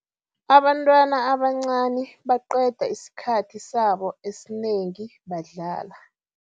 Abantwana abancani baqeda isikhathi sabo esinengi badlala.